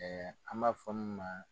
an b'a fɔ min ma.